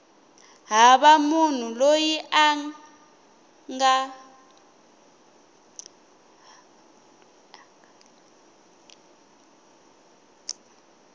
hava munhu loyi a nga